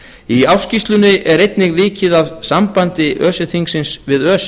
í ársskýrslunni er einnig vikið að sambandi öse þingsins við öse